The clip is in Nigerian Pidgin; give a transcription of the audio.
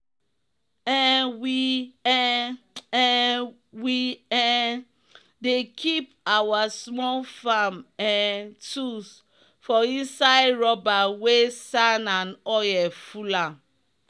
um we um um we um dey keep our small farm um tools for inside rubber wey sand and oil full am